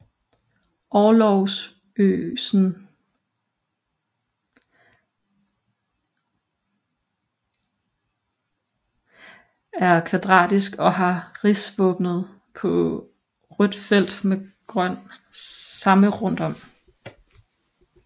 Orlogsgøsen er kvadratisk og har rigsvåbnet på rødt felt med grøn ramme rundt om